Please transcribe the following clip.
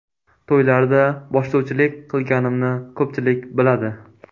To‘ylarda boshlovchilik qilganimni ko‘pchilik biladi.